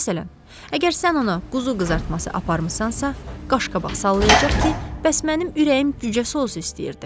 Məsələn, əgər sən ona quzu qızartması aparmısansa, qaşqabaq sallayacaq ki, bəs mənim ürəyim cücə sousu istəyirdi.